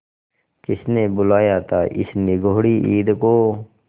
किसने बुलाया था इस निगौड़ी ईद को